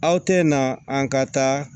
Aw tɛ na an ka taa